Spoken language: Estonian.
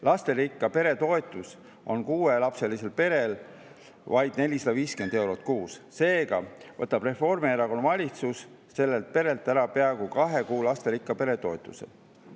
Lasterikka pere toetus on kuuelapselisel perel vaid 450 eurot kuus, seega võtab Reformierakonna valitsus sellelt perelt ära peaaegu kahe kuu lasterikka pere toetuse.